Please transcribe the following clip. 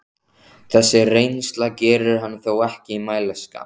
Þessi reynsla gerir hann þó ekki mælskan.